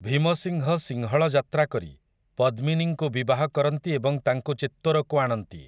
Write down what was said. ଭୀମସିଂହ ସିଂହଳ ଯାତ୍ରା କରି ପଦ୍ମିନୀଙ୍କୁ ବିବାହ କରନ୍ତି ଏବଂ ତାଙ୍କୁ ଚିତ୍ତୋରକୁ ଆଣନ୍ତି ।